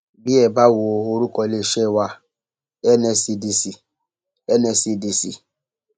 bí ẹ bá wo orúkọ iléeṣẹ wa nscdc nscdc